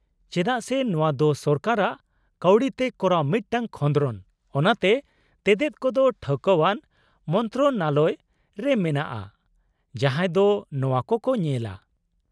-ᱪᱮᱫᱟᱜ ᱥᱮ ᱱᱚᱣᱟ ᱫᱚ ᱥᱚᱨᱠᱟᱨᱟᱜ ᱠᱟᱹᱣᱰᱤᱛᱮ ᱠᱚᱨᱟᱣ ᱢᱤᱫᱴᱟᱝ ᱠᱷᱚᱸᱫᱨᱚᱱ, ᱚᱱᱟᱛᱮ ᱛᱮᱛᱮᱫ ᱠᱚᱫᱚ ᱴᱷᱟᱹᱣᱠᱟᱹᱣᱟᱱ ᱢᱚᱱᱛᱨᱚᱱᱟᱞᱚᱭ ᱨᱮ ᱢᱮᱱᱟᱜᱼᱟ ᱡᱟᱦᱟᱸᱭ ᱫᱚ ᱱᱚᱣᱟ ᱠᱚᱠᱚ ᱧᱮᱞᱟ ᱾